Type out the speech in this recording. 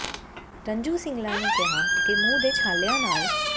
ਰੰਜੂ ਸਿੰਗਲਾ ਨੇ ਕਿਹਾ ਕਿ ਮੂੰਹ ਦੇ ਛਾਲਿਆਂ ਨਾਲ